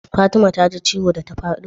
Fatima ta ji ciwo da ta fado?